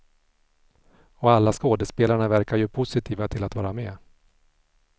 Och alla skådespelarna verkar ju positiva till att vara med.